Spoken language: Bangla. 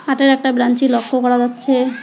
কাঠের একটা ব্রাঞ্চি লক্ষ করা যাচ্ছে।